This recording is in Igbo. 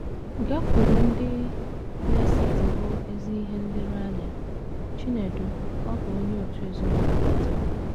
“ Gakwuru ndị... na - esetịpụ ezi ihe nlereanya. ” Chinedu, ọ bụ onye òtù ezinụlọ Betel